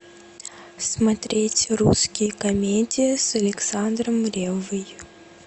смотреть русские комедии с александром реввой